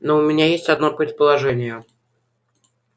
но у меня есть одно предположение